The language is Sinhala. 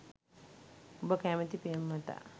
ඔබ කැමැති පෙම්වතා